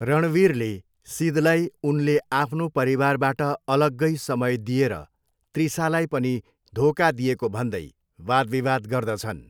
रणवीरले सिदलाई उनले आफ्नो परिवारबाट अलग्गै समय दिएर त्रिसालाई पनि धोका दिएको भन्दै वादविवाद गर्दछन्।